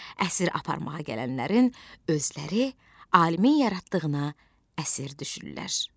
Əsir aparmağa gələnlərin özləri alimin yaratdığına əsir düşürlər.